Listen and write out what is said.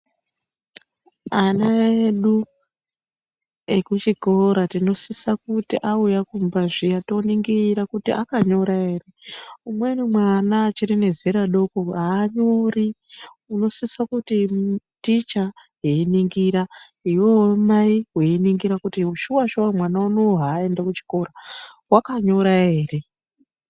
Ana edu ekuchikora tinosisa kuti awuya kumba zviya toningira kuti akanyora ere, umweni mwana achiri nezera doko anyori unosisa kuti ticha eyiningira, iwewewo mai weyiningira, kuti shuwa-shuwa mwana unowu haayenda kuchikora wakanyora ere.